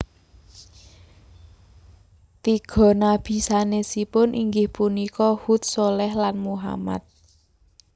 Tiga nabi sanesipun inggih punika Hud Shaleh lan Muhammad